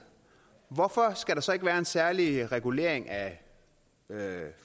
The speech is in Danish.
hvorfor skal der så ikke være en særlig regulering af